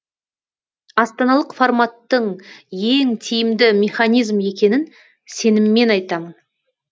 астаналық форматтың ең тиімді механизм екенін сеніммен айтамын